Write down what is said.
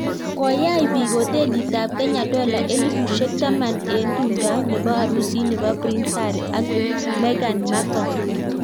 Koyach biik hotelit ab Kenya dola elipushek taman eng tumdo nebo arusit nebo Prince Harry ak Meghan Markle .